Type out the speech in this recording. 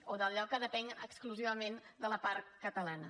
o d’allò que depèn exclusivament de la part catalana